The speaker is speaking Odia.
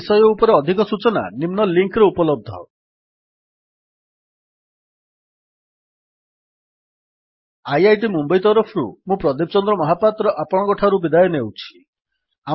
ଏହି ବିଷୟ ଉପରେ ଅଧିକ ସୂଚନା ନିମ୍ନ ଲିଙ୍କ୍ ରେ ଉପଲବ୍ଧ httpspoken tutorialorgNMEICT Intro IIT Mumbai ତରଫରୁ ମୁଁ ପ୍ରଦୀପ ଚନ୍ଦ୍ର ମହାପାତ୍ର ଆପଣଙ୍କଠାରୁ ବିଦାୟ ନେଉଛି